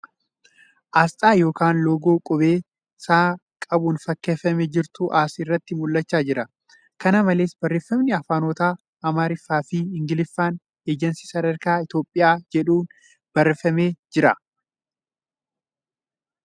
Asxaa yookan loogoo qubee ' S ' qabuun fakkeeffamee jirutu as irratti mul'achaa jira. Kana malees, Barreeffamni afaanota Amaariffaa fi Ingiliffaan ' Ejensii Sadarkaa Itiyoophiyaa ' jedhu barreeffamee jira .